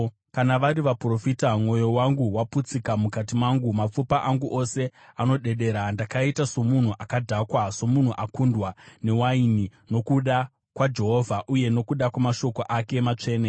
Kana vari vaprofita: Mwoyo wangu waputsika mukati mangu; mapfupa angu ose anodedera. Ndakaita somunhu akadhakwa, somunhu akundwa newaini, nokuda kwaJehovha uye nokuda kwamashoko ake matsvene.